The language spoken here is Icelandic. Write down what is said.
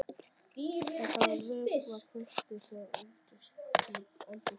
Það þarf að vökva kaktusana í eldhúsglugganum.